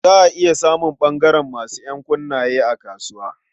Za a iya samun ɓangaren masu ƴankunne a kasuwa.